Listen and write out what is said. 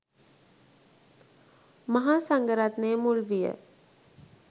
මහා සංඝරත්නය මුල් විය.